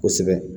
Kosɛbɛ